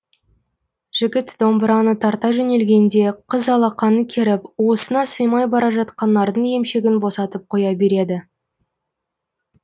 жігіт домбыраны тарта жөнелгенде қыз алақанын керіп уысына сыймай бара жатқан нардың емшегін босатып қоя береді